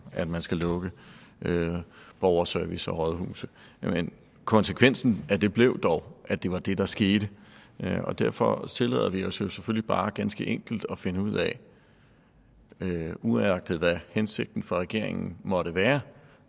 at man skulle lukke borgerservice og rådhuse men konsekvensen af det blev dog at det var det der skete og derfor tillader vi os selvfølgelig bare ganske enkelt at finde ud af uanset hvad hensigten fra regeringen måtte være